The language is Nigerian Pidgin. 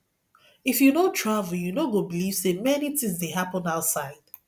if you no travel you no go believe say many things dey happen outside